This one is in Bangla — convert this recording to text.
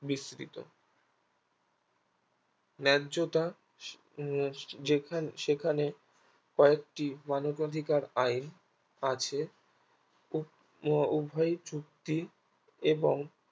বৃস্তিত ন্যায্যতা উম যেখানে সেখানে কয়েকটি মানবধিকার আইন আছে আহ উভ~ উভয়ই চুক্তি এবং